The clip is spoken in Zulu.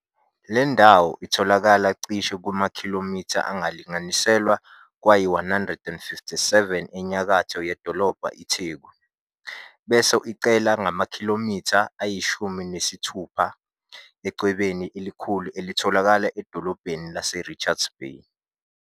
Leli ndawo itholakala ciishe kumakhilomitha angalinganiselwa kwayi-157 enyakatho yedolobha iTheku, bese iqhela ngamakhilomitha ayishumi nesithubha eChwebeni elikhulu elitholakala edolobheni laseRichards Bay.